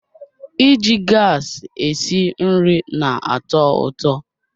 Iji gas esi nri na-atọ ụtọ